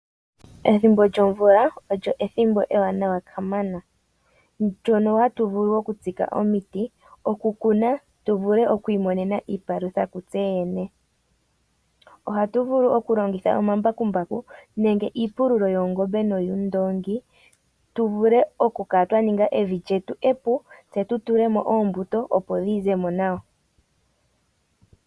Ethimbo lyomvula olyo ethimbo ewaanawa kamana, ndyono hatu vulu oku tsika omiti, oku kuna tu vulu twiimonene iipalutha kutseyene. Ohatu vulu oku longitha ombakumbaku nenge iipululo yoongombe nowuundoongi tu vule oku kala twa ninga evi lyetu e pu, tse tu tule mo oombuto opo dhi ze mo nawa